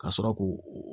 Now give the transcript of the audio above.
Ka sɔrɔ k'u